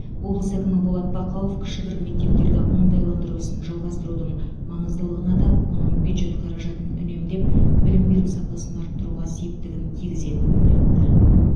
облыс әкімі болат бақауов кішігірім мектептерді оңтайландыру ісін жалғастырудың маңыздылығын атап оның бюджет қаражатын үнемдеп білім беру сапасын арттыруға септігін тигізетінін айтты